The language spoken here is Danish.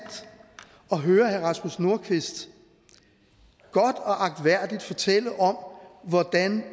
at høre herre rasmus nordqvist godt og agtværdigt fortælle om hvordan